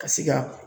Ka se ka